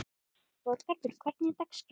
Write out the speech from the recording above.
Þorgarður, hvernig er dagskráin?